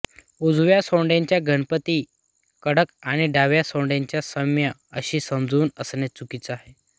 उजव्या सोंडेचा गणपती कडक आणि डाव्या सोंडेचा सौम्य अशी समजूत असणे चुकीचे आहे